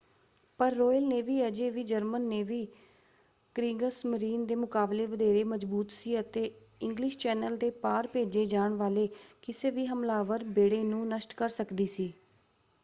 ਪਰ Royal Navy ਅਜੇ ਵੀ ਜਰਮਨ ਨੇਵੀ ਕ੍ਰੀਗਸਮਰੀਨ” ਦੇ ਮੁਕਾਬਲੇ ਵਧੇਰੇ ਮਜ਼ਬੂਤ ​​ਸੀ ਅਤੇ ਇੰਗਲਿਸ਼ ਚੈਨਲ ਦੇ ਪਾਰ ਭੇਜੇ ਜਾਣ ਵਾਲੇ ਕਿਸੇ ਵੀ ਹਮਲਾਵਰ ਬੇੜੇ ਨੂੰ ਨਸ਼ਟ ਕਰ ਸਕਦੀ ਸੀ।